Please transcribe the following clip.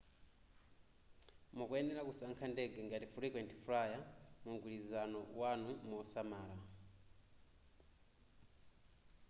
mukuyenera kusankha ndege ngati frequent flyer mumgwirizano wanu mosamala